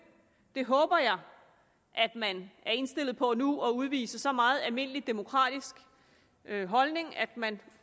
jeg håber at man er indstillet på nu at udvise så meget almindelig demokratisk holdning at man